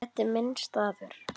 Þetta er minn staður.